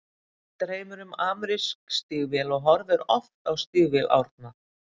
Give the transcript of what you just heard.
Gvend dreymir um amerísk stígvél og horfir oft á stígvél Árna.